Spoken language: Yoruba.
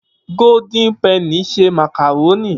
Gódín pẹnì n ṣe màkàrónì.